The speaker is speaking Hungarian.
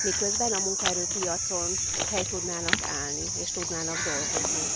miközben a munkaerőpiacon helyt tudnának állni, és tudnának dolgozni.